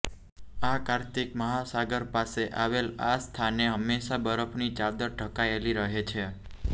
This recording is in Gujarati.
આર્કિતિક મહાસાગર પાસે આવેલ આ સ્થાને હંમેશા બરફની ચાદર જ ઢંકાયેલી રહે છે